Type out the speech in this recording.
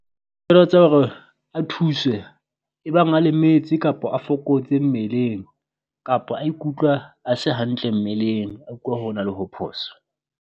Tseba hore a thuswe ebang a lemetse kapo a fokotse mmeleng kapo a ikutlwa a se hantle mmeleng a ukwa ho na le ho phoso.